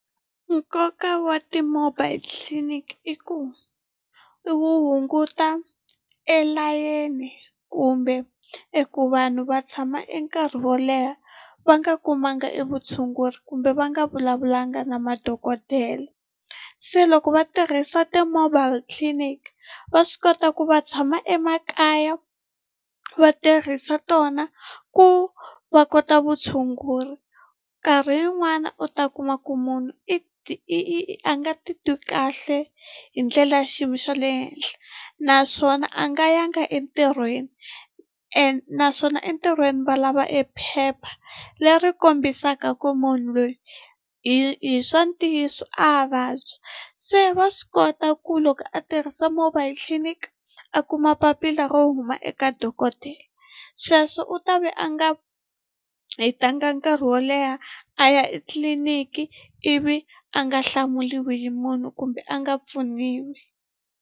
Nkoka wa ti-mobile tliliniki i ku i wu hunguta e layeni kumbe eku vanhu va tshama e nkarhi wo leha va nga kumanga e vutshunguri kumbe va nga vulavulanga na madokodela se loko va tirhisa ti-mobile clinic va swi kota ku va tshama emakaya va tirhisa tona ku va kota vutshunguri nkarhi yin'wana u ta kuma ku munhu i i a nga ti twi kahle hi ndlela ya xiyimo xa le henhla naswona a nga yanga entirhweni and naswona entirhweni va lava e phepha leri kombisaka ku munhu loyi hi swa ntiyiso a vabya se va swi kota ku loko a tirhisa mobile clinic a kuma papila ro huma eka dokodela sweswo u ta ve a nga hetanga nkarhi wo leha a ya etliliniki ivi a nga hlamuriwi hi munhu kumbe a nga pfuniwi.